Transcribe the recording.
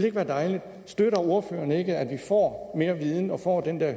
ikke være dejligt støtter ordføreren ikke at vi får mere viden og får den der